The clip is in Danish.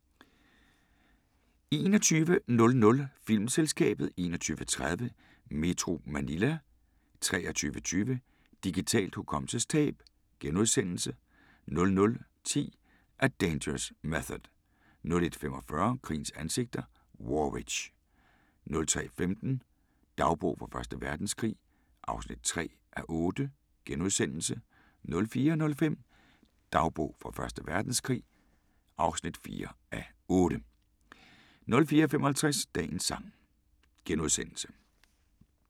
21:00: Filmselskabet 21:30: Metro Manila 23:20: Digitalt hukommelsestab * 00:10: A Dangerous Method 01:45: Krigens ansigter: War Witch 03:15: Dagbog fra Første Verdenskrig (3:8)* 04:05: Dagbog fra Første Verdenskrig (4:8) 04:55: Dagens sang *